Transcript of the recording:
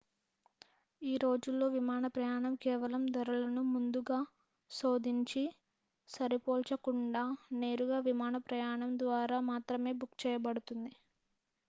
ఈ రోజుల్లో విమాన ప్రయాణం కేవలం ధరలను ముందుగా శోధించి సరిపోల్చకుండా నేరుగా విమాన ప్రయాణం ద్వారా మాత్రమే బుక్ చేయబడుతుంది